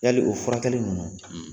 Yali o furakɛli ninnu,